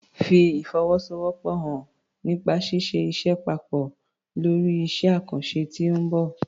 Fi ìfọwọ́sowọ́pọ̀ hàn nípa ṣíṣe iṣẹ́ papọ̀ lórí iṣẹ́ àkànṣe tí ó ń bọ̀.